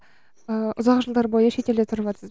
ыыы ұзақ жылдар бойы шетелде тұрыватсыз